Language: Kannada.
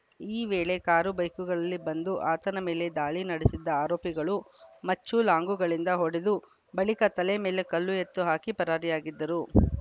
ಈ ವೇಳೆ ಕಾರು ಬೈಕ್‌ಗಳಲ್ಲಿ ಬಂದು ಆತನ ಮೇಲೆ ದಾಳಿ ನಡೆಸಿದ್ದ ಆರೋಪಿಗಳು ಮಚ್ಚುಲಾಂಗುಗಳಿಂದ ಹೊಡೆದು ಬಳಿಕ ತಲೆ ಮೇಲೆ ಕಲ್ಲು ಎತ್ತು ಹಾಕಿ ಪರಾರಿಯಾಗಿದ್ದರು